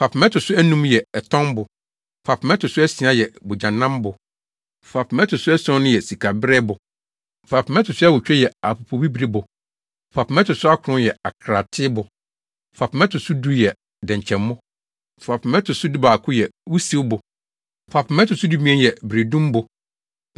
Fapem a ɛto so anum yɛ ɛtɔnbo. Fapem a ɛto so asia yɛ bogyanambo. Fapem a ɛto so ason yɛ sikabereɛbo. Fapem a ɛto so awotwe yɛ apopobibiribo. Fapem a ɛto so akron yɛ akraatebo. Fapem a ɛto so du yɛ dɛnkyɛmmo. Fapem a ɛto so dubaako yɛ wusiwbo. Fapem a ɛto so dumien yɛ beredumbo.